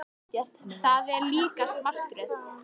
Þetta er líkast martröð.